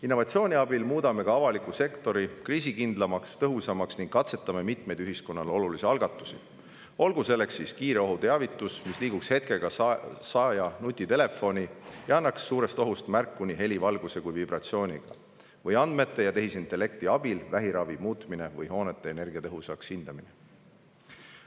Innovatsiooni abil muudame ka avaliku sektori kriisikindlamaks ja tõhusamaks ning katsetame mitmeid ühiskonnale olulisi algatusi, olgu kiire ohuteavitus, mis liiguks hetkega saaja nutitelefoni ja annaks suurest ohust märku nii heli, valguse kui ka vibratsiooniga, andmete ja tehisintellekti abil vähiravi muutmine või hoonete energiatõhususe hindamine.